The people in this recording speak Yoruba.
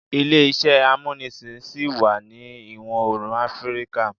Ile-iṣẹ amunisin ṣi wa ni Iwọ-oorun Afirika